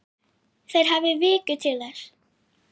Þeir hafi viku til þess.